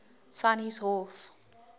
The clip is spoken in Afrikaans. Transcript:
sannieshof